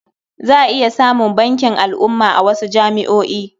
Za a iya samun bankin al'umma a wasu jami'o'i.